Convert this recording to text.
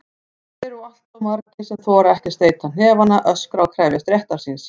Þeir eru alltof margir sem þora ekki að steyta hnefana, öskra og krefjast réttar síns.